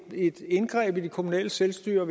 indgreb i det kommunale selvstyre